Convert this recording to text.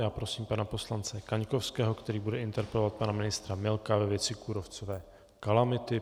Já prosím pana poslance Kaňkovského, který bude interpelovat pana ministra Milka ve věci kůrovcové kalamity.